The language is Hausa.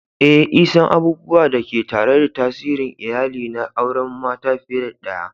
Eh,l san abubuwan da ke tare da tsarin iyali na auren mata fiye da daya.